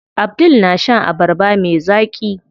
Abdul na shan abarba me zaƙi.